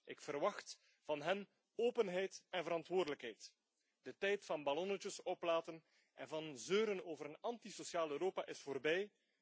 Ik verwacht van hen openheid en verantwoordelijkheid. De tijd van ballonnetjes oplaten en van zeuren over een antisociaal Europa is voorbij.